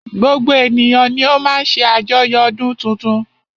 Gbogbo ènìyàn ni o má ń ṣe àjoyo ọdún tuntun.